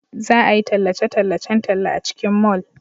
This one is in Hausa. Za a yi tallace-tallacen talla a cikin mall.